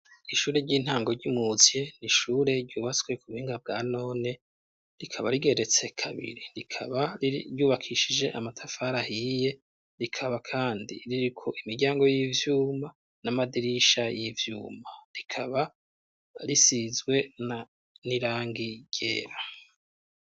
Ishure ry'intango ry'imuzye ni ishure ryubatswe ku buhinga bwa none, rikaba rigeretse kabiri, rikaba ryubakishije amatafara ahiye, rikaba kandi ririko imiryango y'ivyuma n'amadirisha y'ivyuma, rikaba risizwe n'irangi ryera.